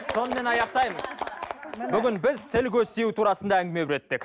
сонымен аяқтаймыз бүгін біз тіл көз тию турасында әңгіме өттік